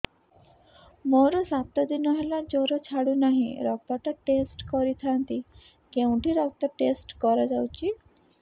ମୋରୋ ସାତ ଦିନ ହେଲା ଜ୍ଵର ଛାଡୁନାହିଁ ରକ୍ତ ଟା ଟେଷ୍ଟ କରିଥାନ୍ତି କେଉଁଠି ରକ୍ତ ଟେଷ୍ଟ କରା ଯାଉଛି